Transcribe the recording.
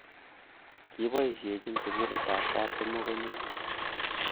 Kiboisichin sugulitab kaptumo kon nenyu